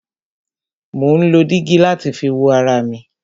Mo má ń lo dígí láti fi wo ara mi.